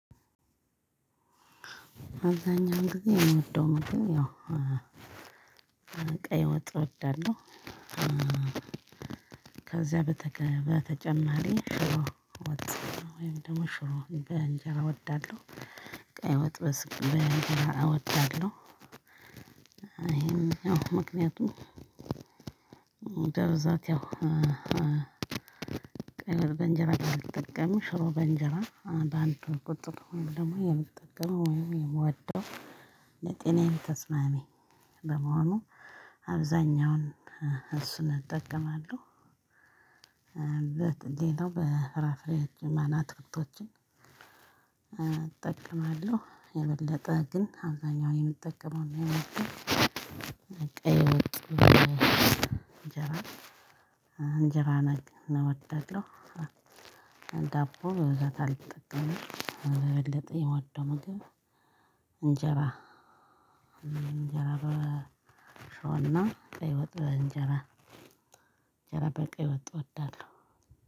አብዛኛው ጊዜ የምወደው መንገድ ያው ቀይ ወጥ እወዳለሁ። ከዛ በተጨማሪ ሽሮ ወጥ ወይም ደግሞ ሽሮ በእንጀራ እወዳለሁ ቀይ ወጥ በእንጀራ እወዳለሁ። ይሄን ምክንያቱም በብዛት ያው ቀለብ በእንጀራ አልጠቀምም ሽሮ በእንጀራ በአንድ አንድ ቁጥር ደግሞ የምትጠቀመው ወይም የምወደው ሌጤናዬም ተስማሚ በመሆኑ አብዛኛውን እሱን እጠቀማለሁ። እንዴት ሌላው በፍራፍሬ ማና አትክልቶችን እጠቅማለሁ የበለጠ ግን አብዛኛውን የምጠቀመው እና የምወደው ቀይ ወጥ በእንጀራ እንጀራ ነገር ነው የምወደው። ዳቦ በብዛት አልጠቀምም የበለጠ የምወደው ምግብ እንጀራ እንጀራ በሸሮና ቀይ ወጥ በእንጀራ እንጀራ በቀይ ወጥ እወዳለሁ።